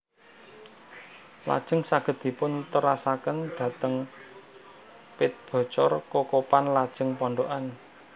Lajeng saged dipun terasaken dhateng Pet Bocor Kokopan lajeng Pondokan